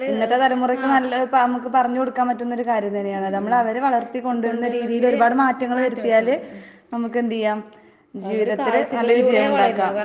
ഇന്നത്തെ തലമുറയ്ക്ക് നല്ല ഇപ്പ അമ്മക്ക് പറഞ്ഞ് കൊടുക്കാൻ പറ്റുന്നൊരു കാര്യം തന്നെയാണ്. നമ്മളവരെ വളർത്തി കൊണ്ടുവരുന്ന രീതീലൊരുപാട് മാറ്റങ്ങള് വരുത്തിയാല് നമ്മക്കെന്തെയ്യാം ജീവിതത്തില് നല്ല വിജയം ഇണ്ടാക്കാം.